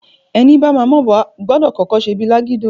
Ẹni bama m'obo, gbọdọ̀ kọ́kọ́ ṣe bíi lágídò.